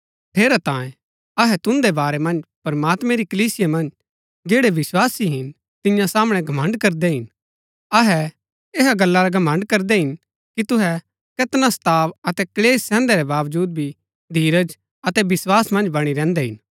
ठेरैतांये अहै तुन्दै बारै मन्ज प्रमात्मैं री कलीसिया मन्ज जैड़ै विस्वासी हिन तिन्या सामणै घमण्ड़ करदै हिन अहै ऐहा गल्ला रा घमण्ड़ करदै हिन कि तुहै कैतना सताव अतै क्‍लेश सैहन्दै रै बावजूद भी धीरज अतै विस्वास मन्ज बणी रैहन्दै हिन